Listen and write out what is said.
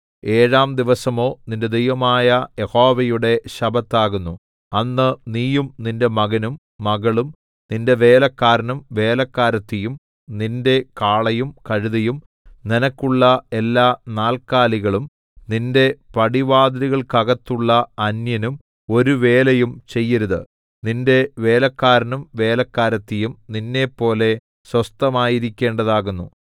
ഏഴാം ദിവസമോ നിന്റെ ദൈവമായ യഹോവയുടെ ശബ്ബത്താകുന്നു അന്ന് നീയും നിന്റെ മകനും മകളും നിന്റെ വേലക്കാരനും വേലക്കാരത്തിയും നിന്റെ കാളയും കഴുതയും നിനക്കുള്ള എല്ലാ നാല്ക്കാലികളും നിന്റെ പടിവാതിലുകൾക്കകത്തുള്ള അന്യനും ഒരു വേലയും ചെയ്യരുത് നിന്റെ വേലക്കാരനും വേലക്കാരത്തിയും നിന്നെപ്പോലെ സ്വസ്ഥമായിരിക്കേണ്ടതാകുന്നു